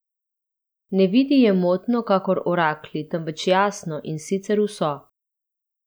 Ne vidi je motno kakor oraklji, temveč jasno, in sicer vso.